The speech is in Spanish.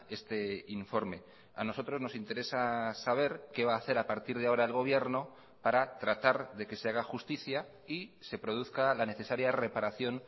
este informe a nosotros nos interesa saber qué va a hacer a partir de ahora el gobierno para tratar de que se haga justicia y se produzca la necesaria reparación